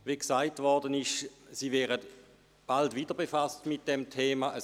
Wie gesagt worden ist, werden Sie sich bald wieder mit diesem Thema befassen.